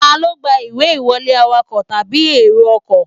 Ta ló gba ìwé ìwọlé, awakọ̀ tàbí èrò ọkọ̀